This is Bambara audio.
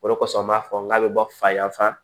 O de kosɔn an b'a fɔ k'a be bɔ fa yan fan fɛ